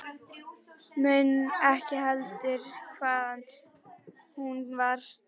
Mundi ekki heldur hvaðan hún var til hennar komin.